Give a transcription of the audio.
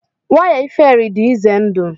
waya iferi dị ize ndụ